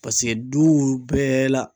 Paseke duw bɛɛ la